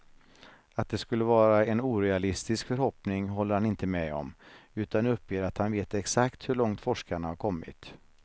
Att det skulle vara en orealistisk förhoppning håller han inte med om, utan uppger att han vet exakt hur långt forskarna har kommit.